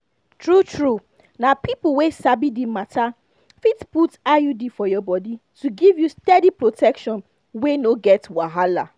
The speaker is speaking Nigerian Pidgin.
true-true na people wey sabi the matter fit put iud for your body to give you steady protection wey no get wahala.